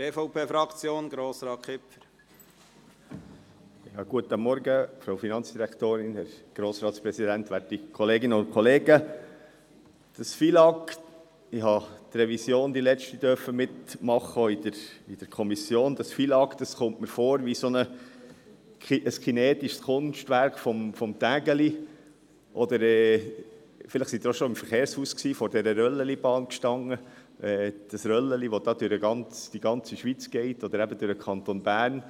Das FILAG – ich durfte die letzte Revision in der Kommission mitmachen – kommt mir vor wie ein kinetisches Kunstwerk von Tinguely, oder vielleicht waren Sie auch schon im Verkehrshaus und standen vor der Röllchenbahn mit dem Röllchen, welches durch die ganze Schweiz geht oder eben durch den Kanton Bern.